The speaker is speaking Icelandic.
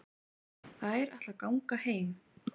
Þær ætla að ganga heim.